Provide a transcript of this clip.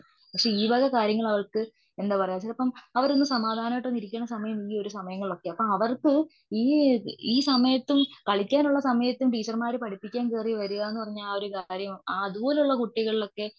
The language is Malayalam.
പക്ഷേ ഈ വക കാര്യങ്ങളവവർക്ക് എന്താ പറയുക ചിലപ്പം അവരൊന്നു സമാധാനമായിട്ടൊന്നിരിക്കുന്ന ഈ ഒരു സമയങ്ങളിലൊക്കെയ. ഈ സമയത്തും കളിക്കാനുള്ള സമയത്തും ടീച്ചർമാര് പഠിപ്പിക്കാൻ കേറി വരുവാന്ന് പറഞ്ഞാൽ ആ ഒരു കാര്യം അതുപോലുള്ള കുട്ടികളിലൊക്കെ